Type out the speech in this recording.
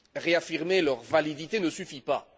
Réaffirmer leur validité ne suffit pas.